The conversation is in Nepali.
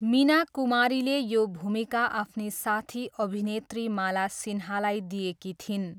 मीना कुमारीले यो भूमिका आफ्नी साथी अभिनेत्री माला सिन्हालाई दिएकी थिइन्।